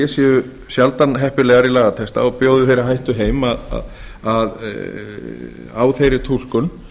séu sjaldan heppilegar í lagatexta og bjóði heim hættu á þeirri túlkun